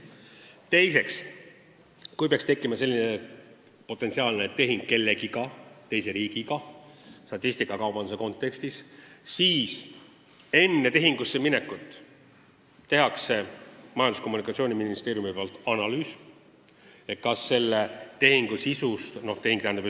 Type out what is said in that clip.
Teiseks, kui statistikakaubanduse raames peaks kõne all olema tehing mõne teise riigiga, siis enne tehingu sõlmimist tehakse Majandus- ja Kommunikatsiooniministeeriumis analüüs, kuidas see tehing mõjub.